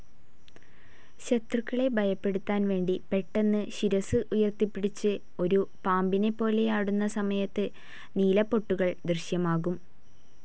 ശത്രുക്കളെ ഭയപ്പെടുത്താൻവേണ്ടി പെട്ടെന്ന് ശിരസ്സ് ഉയർത്തിപ്പിടിച്ചു ഒരു പാമ്പിനെപ്പോലെ ആടുന്ന സമയത്തു നീലപ്പൊട്ടുകൾ ദൃശ്യമാകും.